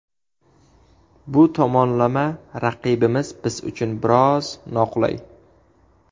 Bu tomonlama, raqibimiz biz uchun biroz noqulay.